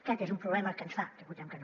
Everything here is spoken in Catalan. aquest és un problema que ens fa que votem que no